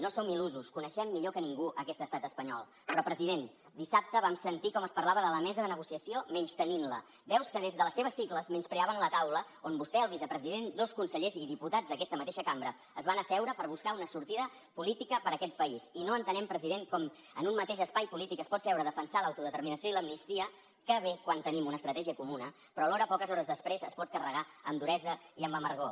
no som il·lusos coneixem millor que ningú aquest estat espanyol però president dissabte vam sentir com es parlava de la mesa de negociació menystenint la veus que des de les seves sigles menyspreaven la taula on vostè el vicepresident dos consellers i diputats d’aquesta mateixa cambra es van asseure per buscar una sortida política per a aquest país i no entenem president com en un mateix espai polític es pot seure a defensar l’autodeterminació i l’amnistia que bé quan tenim una estratègia comuna però alhora poques hores després es pot carregar amb duresa i amb amargor